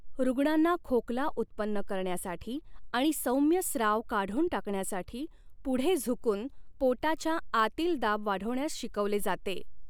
रुग्णांना खोकला उत्पन्न करण्यासाठी आणि सौम्य स्राव काढून टाकण्यासाठी पुढे झुकून पोटाच्या आतील दाब वाढवण्यास शिकवले जाते.